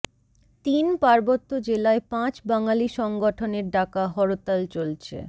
তিন পার্বত্য জেলায় পাঁচ বাঙালি সংগঠনের ডাকা হরতাল চলছে